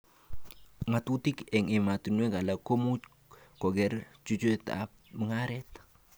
Ngatutik eng ematinwek alak komuch koker chutetab mugaret